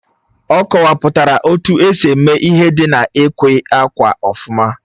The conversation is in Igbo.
Ọ kọwapụtara etu esi eme ihe dị na-ịkwè ákwà ofuma